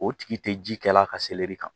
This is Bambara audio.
O tigi tɛ ji kɛla ka kan